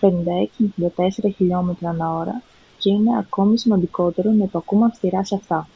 56-64 χιλιόμετρα/ώρα και είναι ακόμη σημαντικότερο να υπακούμε αυστηρά σε αυτά